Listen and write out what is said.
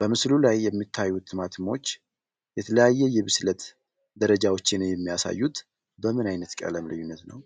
በምስሉ ላይ የሚታዩት ቲማቲሞች የተለያዩ የብስለት ደረጃዎችን የሚያሳዩት በምን አይነት ቀለም ልዩነት ነው?